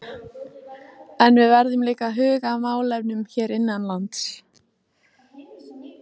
En við verðum líka að huga að málefnum hér innanlands.